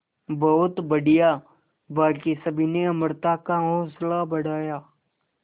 बहुत बढ़िया बाकी सभी ने अमृता का हौसला बढ़ाया